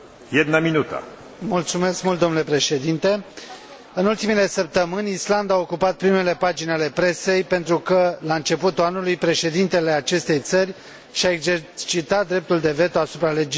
În ultimele săptămâni Islanda a ocupat primele pagini ale presei pentru că, la începutul anului, președintele acestei țări și a exercitat dreptul de veto asupra legislației și a decis să o supună unui referendum.